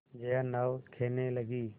जया नाव खेने लगी